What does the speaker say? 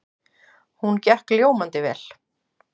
Hún gekk ljómandi vel.